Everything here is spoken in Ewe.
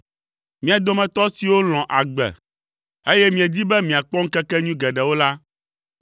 Mia dometɔ siwo lɔ̃ agbe, eye miedi be miakpɔ ŋkekenyui geɖewo la,